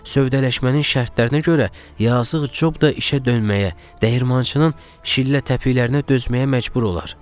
Sövdələşmənin şərtlərinə görə yazıq Cob da işə dönməyə, dəyirmançının şillə təpiklərə dözməyə məcbur olar.